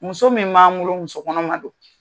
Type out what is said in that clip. Muso min b'an bolo, muso kɔnɔma don.